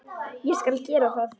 Ég skal gera það.